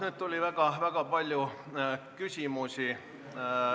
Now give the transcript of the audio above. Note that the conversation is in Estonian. Nüüd tuli väga palju küsimusi.